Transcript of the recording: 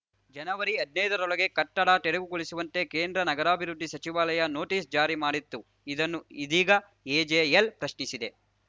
ಜನವರಿಹದ್ನೈದ ರೊಳಗೆ ಕಟ್ಟಡ ತೆರವುಗೊಳಿಸುವಂತೆ ಕೇಂದ್ರ ನಗರಾಭಿವೃದ್ದಿ ಸಚಿವಾಲಯ ನೋಟಿಸ್‌ ಜಾರಿ ಮಾಡಿತ್ತು ಇದನ್ನು ಇದೀಗ ಎಜೆಎಲ್‌ ಪ್ರಶ್ನಿಸಿದೆ